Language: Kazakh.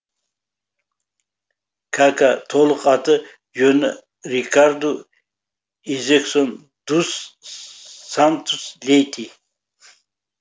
кака толық аты жөні рикарду изексон дус сантус лейти